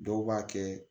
Dɔw b'a kɛ